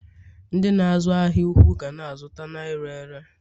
ndị na-azu ahia ụkwụ ga na-azụta na ire ere